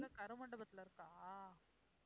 கருமண்டபத்தில இருக்கா?